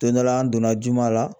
Don dɔ la an donna juma la